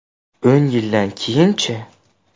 O‘n yildan keyinchi?